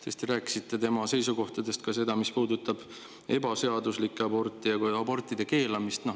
Te rääkisite tema seisukohtadega seoses ka sellest, mis puudutab ebaseaduslikke aborte ja abortide keelamist.